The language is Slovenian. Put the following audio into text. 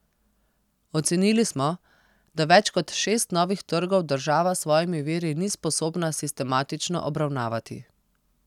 Ocenili smo, da več kot šest novih trgov država s svojimi viri ni sposobna sistematično obravnavati.